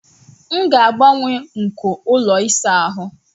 M ga-agbanwe nko ụlọ ịsa ahụ